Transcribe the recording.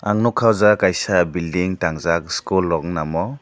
ang nugkha aw jaaga kaisa building tangjaak school rok ungna omo.